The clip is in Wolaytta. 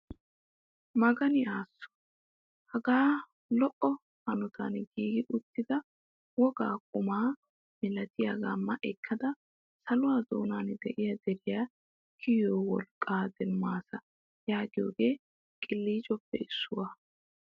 Magani asoo! hagaa lo"o hanotan giigi uttida wogaa qumaa milatiyaaga ma ekkada saluwaa doonan de'iyaa deriyaa kiyiyoo wolqqaa demmaasa yaagiyoogee qiliicoppe issuwaa!